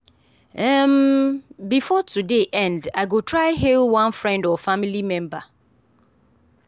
um before today end i go try hail one friend or family member.